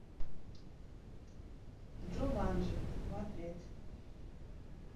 джуманджи смотреть